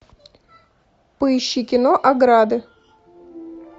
поищи кино ограды